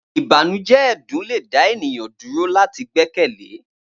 Ibanujẹ ẹdun le da eniyan duro lati gbẹkẹle